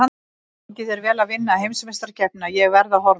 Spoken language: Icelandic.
Gangi þér vel að vinna heimsmeistarakeppnina, ég verð að horfa.